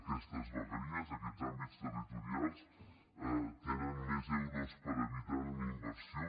aquestes vegueries aquests àmbits territorials tenen més euros per habitant en inversió